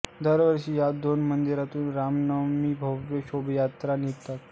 दरवर्षी या दोन्ही मंदिरातुन रामनवमीस भव्य शोभायात्रा निघतात